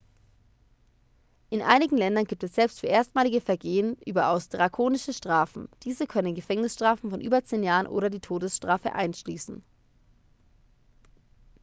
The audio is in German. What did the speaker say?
in einigen ländern gibt es selbst für erstmalige vergehen überaus drakonische strafen diese können gefängnisstrafen von über 10 jahren oder die todesstrafe einschließen